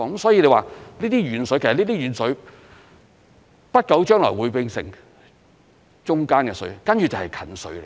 所以說，這些"遠水"不久將來會變成"中間的水"，接着便會變成"近水"。